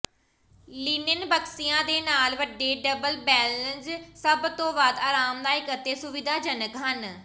linen ਬਕਸਿਆਂ ਦੇ ਨਾਲ ਵੱਡੇ ਡਬਲ ਬੈੱਲਜ਼ ਸਭ ਤੋਂ ਵੱਧ ਆਰਾਮਦਾਇਕ ਅਤੇ ਸੁਵਿਧਾਜਨਕ ਹਨ